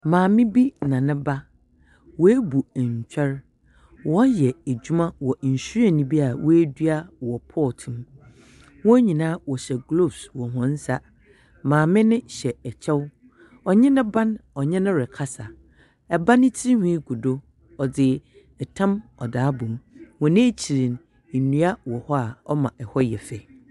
Maame bi na ne ba. Woebu ntwɛr. Wɔreyɛ edwuma wɔ nhwiren bi a woedua wɔ pot mu. Wɔn nyinaa wɔhyɛ gloves wɔ hɔn nsa. Maame no hyɛ kyɛw. Ɔnye ne ba no ɔnye no rekasa. Ɛba no tsinwhi gu do. Ɔdze tam ɔdze abɔ mu. Wɔ n'ekyir no, ndua wɔ hɔ a ɔma hɔ yɛ fɛw.